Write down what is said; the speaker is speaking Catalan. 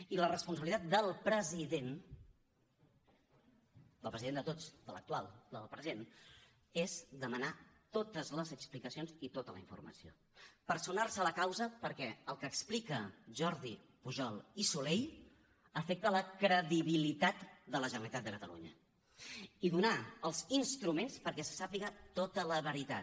i la responsabilitat del president del president de tots de l’actual del present és demanar totes les explicacions i tota la informació personar se a la causa perquè el que explica jordi pujol i soley afecta la credibilitat de la generalitat de catalunya i donar els instruments perquè se sàpiga tota la veritat